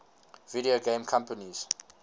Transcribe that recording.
video game companies